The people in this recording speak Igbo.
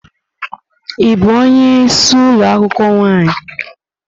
Ị bụ onye isi ụlọ akwụkwọ nwaanyị?